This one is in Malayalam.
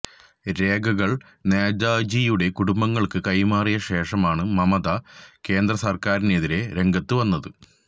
രേഖകള് നേതാജിയുടെ കുടുംബങ്ങള്ക്ക് കൈമാറിയ ശേഷമാണ് മമത കേന്ദ്രസര്ക്കാരിനെതിരെ രംഗത്ത് വന്നത്